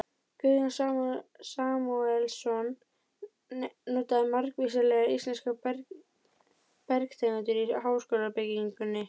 Guðjón Samúelsson notaði margvíslegar íslenskar bergtegundir í háskólabyggingunni.